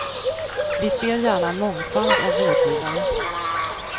Vi ser gärna en mångfald av vårdgivare.